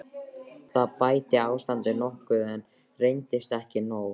Það bætti ástandið nokkuð, en reyndist ekki nóg.